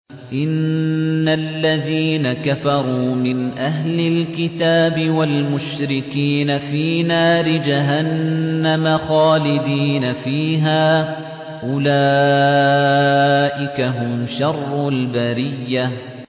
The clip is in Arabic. إِنَّ الَّذِينَ كَفَرُوا مِنْ أَهْلِ الْكِتَابِ وَالْمُشْرِكِينَ فِي نَارِ جَهَنَّمَ خَالِدِينَ فِيهَا ۚ أُولَٰئِكَ هُمْ شَرُّ الْبَرِيَّةِ